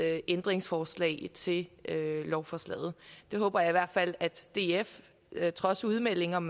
ændringsforslag til lovforslaget jeg håber i hvert fald at df trods udmeldinger om